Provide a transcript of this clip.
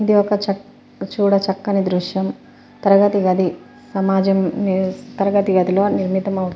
ఇది ఒక చెక్ చూడ చక్కని దృశ్యం తరగతి గది సమాజం తరగతి గదిలో నిర్మిత --